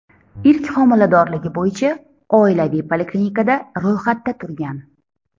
ilk homiladorligi bo‘yicha oilaviy poliklinikada ro‘yxatda turgan.